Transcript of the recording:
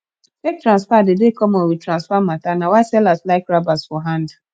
fake transfer dey dey common with transfer mata na why sellers like rabas for hand